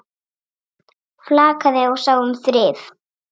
Flakaði og sá um þrif.